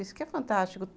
Isso que é fantástico.